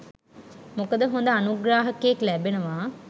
මොකද හොඳ අනුග්‍රාහකයෙක් ලැබෙනවා